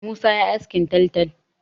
Musa ya yi askin taltal.